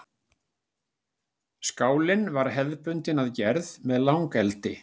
Skálinn var hefðbundinn að gerð með langeldi.